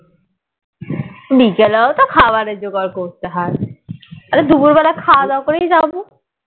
বিকালেও তো খাবারের জোগাড় করতে হয় অরে দুপুর বেলা খাওয়া দাওয়া করেই যাবো